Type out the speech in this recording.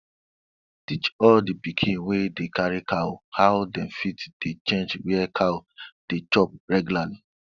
teach all di pikin wey dey carry cow how dem fit dey change where cow dey chop reglarly